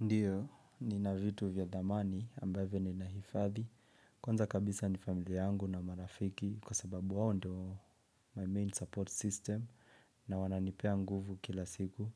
Ndiyo, nina vitu vya dhamani ambavyo ninahifadhi. Kwanza kabisa ni familia yangu na marafiki kwa sababu wawo ndo my main support system na wananipea nguvu kila siku.